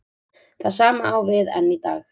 Það sama á við enn í dag.